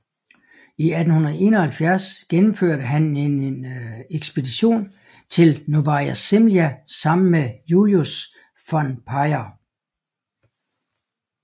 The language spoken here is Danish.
I 1871 gennemførte han en ekspedition til Novaja Zemlja sammen med Julius von Payer